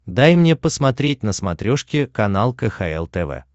дай мне посмотреть на смотрешке канал кхл тв